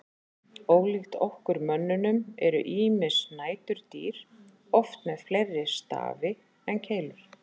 Ólíkt okkur mönnunum eru ýmis næturdýr oft með fleiri stafi en keilur.